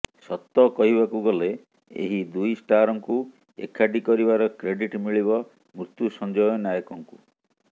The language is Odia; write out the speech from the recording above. ସତ କହିବାକୁ ଗଲେ ଏହି ଦୁଇ ଷ୍ଟାରଙ୍କୁ ଏକାଠି କରିବାର କ୍ରେଡିଟ୍ ମିଳିବ ମୃତ୍ୟୁସଞ୍ଜୟ ନାୟକଙ୍କୁ